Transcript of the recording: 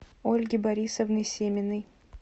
ольги борисовны семиной